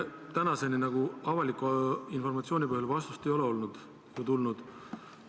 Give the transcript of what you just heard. Tänaseni avaliku informatsiooni põhjal vastust ei ole tulnud.